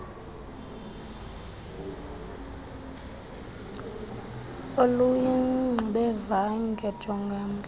oluyingxubevange jonga umhl